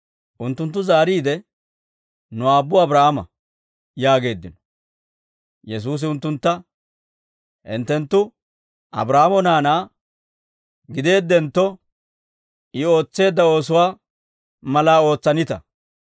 Unttunttu zaariide, «Nu aabbu Abraahaama» yaageeddino. Yesuusi unttuntta, «Hinttenttu Abraahaamo naanaa gideeddentto, I ootseedda oosuwaa malaa ootsanita.